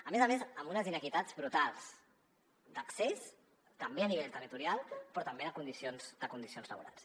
a més a més amb unes inequitats brutals d’accés també a nivell territorial però també de condicions laborals